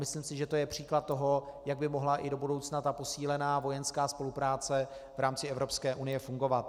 Myslím si, že to je příklad toho, jak by mohla i do budoucna ta posílená vojenská spolupráce v rámci Evropské unie fungovat.